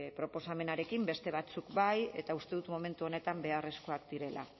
proposamenarekin beste batzuk bai eta uste dut momentu honetan beharrezkoak direla